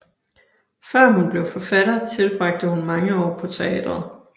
Før hun blev forfatter tilbragte hun mange år på teatret